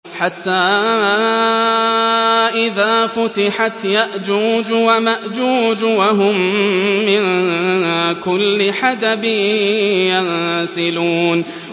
حَتَّىٰ إِذَا فُتِحَتْ يَأْجُوجُ وَمَأْجُوجُ وَهُم مِّن كُلِّ حَدَبٍ يَنسِلُونَ